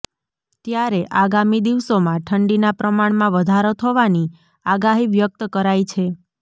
ત્યારે આગામી દિવસોમાં ઠંડીના પ્રમાણમાં વધારો થવાની આગાહી વ્યક્ત કરાઈ છે